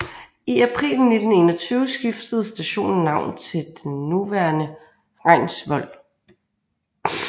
I april 1921 skiftede stationen navn til det nuværende Reinsvoll